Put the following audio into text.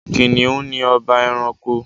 Kìnìún ni ọba ẹranko.